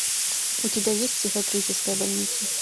у тебя есть психиатрическая больница